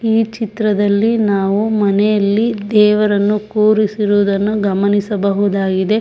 ಈ ಚಿತ್ರದಲ್ಲಿ ನಾವು ಮನೆಯಲ್ಲಿ ದೇವರನ್ನು ಕೂರಿಸಿರುವುದನ್ನು ಗಮನಿಸಬಹುದಾಗಿದೆ.